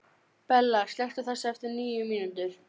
Bella, slökktu á þessu eftir níu mínútur.